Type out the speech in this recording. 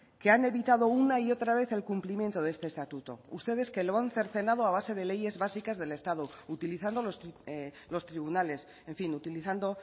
que han evitado una y otra vez el cumplimiento de este estatuto ustedes que lo han cercenado a base de leyes básicas del estado utilizando los tribunales en fin utilizando